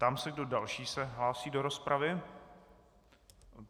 Ptám se, kdo další se hlásí do rozpravy.